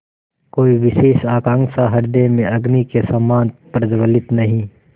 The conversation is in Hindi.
कोई विशेष आकांक्षा हृदय में अग्नि के समान प्रज्वलित नहीं